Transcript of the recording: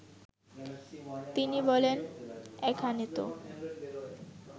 তিনি বলেন, এখানেতো